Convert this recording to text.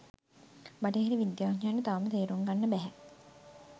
බටහිර විද්‍යාඥයන්ට තවම තේරුම් ගන්න බැහැ.